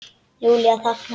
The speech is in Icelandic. Júlía þagnar.